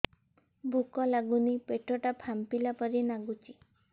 ଭୁକ ଲାଗୁନି ପେଟ ଟା ଫାମ୍ପିଲା ପରି ନାଗୁଚି